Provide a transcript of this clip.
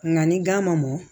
Nka ni gan ma mɔn